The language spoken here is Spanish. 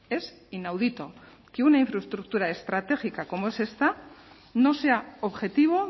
es inaudito que una infraestructura estratégica como es esta no sea objetivo